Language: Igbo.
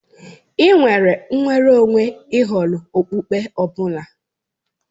Ị́ nwere nnwere onwe ì họrọ okpukpe ọ bụla.